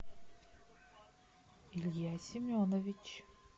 илья семенович